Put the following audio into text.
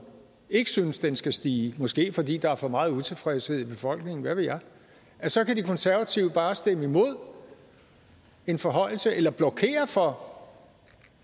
ikke synes at den skal stige måske fordi der er for meget utilfredshed i befolkningen hvad ved jeg så kan de konservative bare stemme imod en forhøjelse eller blokere for